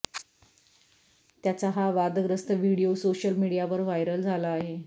त्याचा हा वादग्रस्त व्हिडीओ सोशल मीडियावर व्हायरल झाला आहे